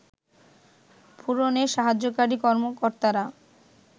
পূরণে সাহায্যকারী কর্মকর্তারা